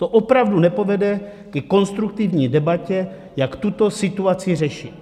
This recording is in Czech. To opravdu nepovede ke konstruktivní debatě, jak tuto situaci řešit.